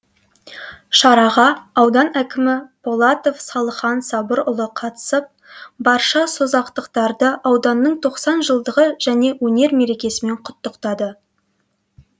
шараға аудан әкімі полатов салыхан сабырұлы қатысып барша созақтықтарды ауданның тоқсан жылдығы және өнер мерекесімен құттықтады